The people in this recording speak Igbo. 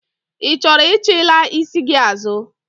Ị chọrọ ichilaa isi gị azụ?